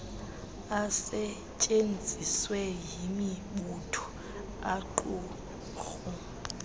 asetyenziswe yimibutho aaqumrhu